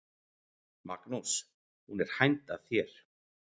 Magnús: Hún er hænd að þér?